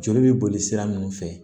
Joli bɛ boli sira minnu fɛ